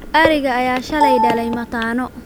Ariga ayaa shalay dhalay mataano